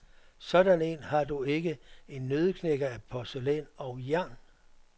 Sådan en har du ikke, en nøddeknækker af porcelæn og jern.